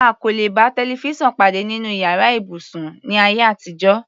A kò lè bá tẹlifísàn pàdé nínú yàrá ibùsùn, ní ayé àtijọ́.